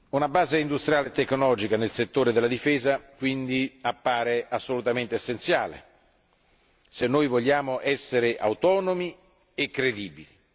Una base industriale e tecnologica nel settore della difesa, appare quindi assolutamente essenziale se vogliamo essere autonomi e credibili.